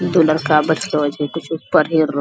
दू लड़का बैठलो छै कुछू पढ़ी रहलो ।